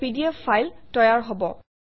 এটা PDF file তৈয়াৰ হব